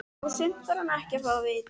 Og sumt þarf hún ekkert að fá að vita.